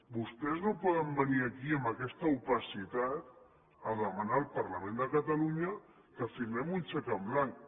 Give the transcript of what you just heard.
vostès no poden venir aquí amb aquesta opacitat a demanar al parlament de catalunya que firmem un xec en blanc